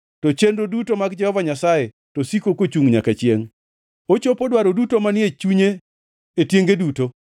To chenro duto mag Jehova Nyasaye to siko kochungʼ nyaka chiengʼ; ochopo dwaro duto manie chunye e tienge duto.